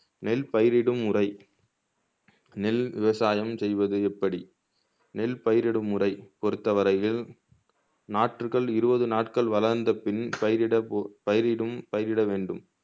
நெல் பயிரிடும் முறை நெல் விவசாயம் செய்வது எப்படி நெல் பயிரிடும் முறை பொருத்தவரையில் நாற்றுகள் இருவது நாட்கள் வளர்ந்த பின் பயிரிட போ பயிரிடும் பயிரிட வேண்டும்